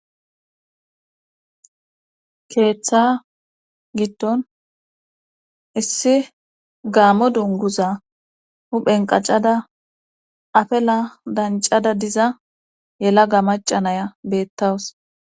keeththa gitton issi gaamo dunguza huphen qacada afela dancada diza yela ga macanaya beettawus